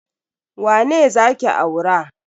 Wane za ki aura?